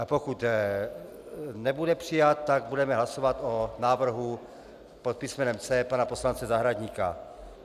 A pokud nebude přijat, tak budeme hlasovat o návrhu pod písmenem C pana poslance Zahradníka.